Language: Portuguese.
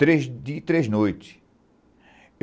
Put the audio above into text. Três dias e três noites.